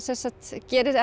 gerist